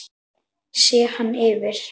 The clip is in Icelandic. Sé hann yfir